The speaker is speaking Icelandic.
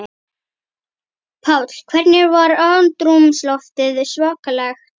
Páll: Hvernig var andrúmsloftið svakalegt?